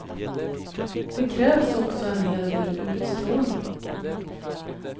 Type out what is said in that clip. Det krävs också en hel del utstrålning.